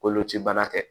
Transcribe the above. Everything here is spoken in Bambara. Kolocibana tɛ